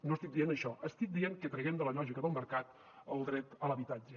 no estic dient això estic dient que traguem de la lògica del mercat el dret a l’habitatge